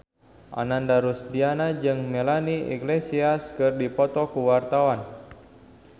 Ananda Rusdiana jeung Melanie Iglesias keur dipoto ku wartawan